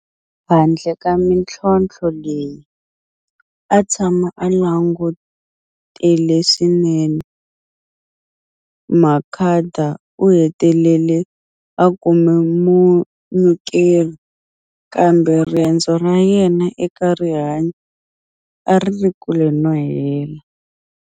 Handle ka mitlhontlho leyi, a tshama a langutele leswinene. Makhada u hetelele a kume munyikeri, kambe rendzo ra yena eka rihanyu a ri ri ekule no hela.